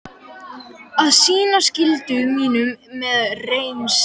Á að sinna skyldu mínum með reisn.